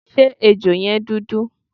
Ṣé ejò yẹn dúdú?